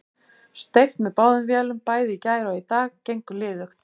Steypt með báðum vélum bæði í gær og í dag, gengur liðugt.